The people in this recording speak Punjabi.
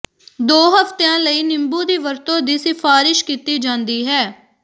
ਦੋ ਹਫ਼ਤਿਆਂ ਲਈ ਨਿੰਬੂ ਦੀ ਵਰਤੋਂ ਦੀ ਸਿਫਾਰਸ਼ ਕੀਤੀ ਜਾਂਦੀ ਹੈ